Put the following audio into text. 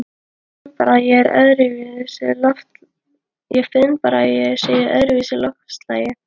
Ég finn bara að ég er í öðruvísi loftslagi.